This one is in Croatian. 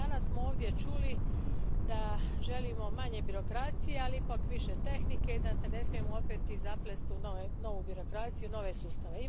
Danas smo ovdje čuli da želimo manje birokracije, ali ipak više tehnike i da se ne smijemo opet svi zaplesti u novu birokraciju, nove sustave.